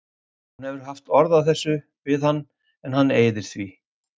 Hún hefur haft orð á þessu við hann en hann eyðir því.